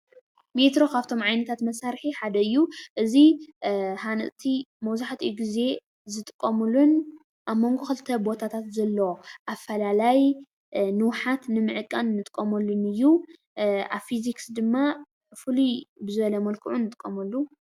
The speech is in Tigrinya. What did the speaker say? ሜትሮ ካብቶም ዓይነታት መሳርሒ ሓደ እዩ፡፡ እዚ ሃነፅቲ መብዛሕትኡ ግዜ ዝጥቀምሉን ኣብ መንጉ ክልተ ቦታታት ዘሎ ኣፈላላይ ንውሓት ንምዕቃን እንጥቀመሉን እዩ፡፡ ኣብ ፊዚክስ ድማ ፍሉይ ብዝበለ መልክዑ ንጥቀመሉ፡፡